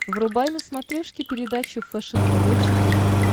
врубай на смотрешке передачу фэшен тв четыре к